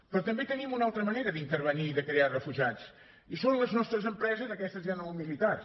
però també tenim una altra manera d’intervenir i de crear refugiats i són les nostres empreses aquestes ja no militars